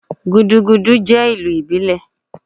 Gudugudu je ilù ibílé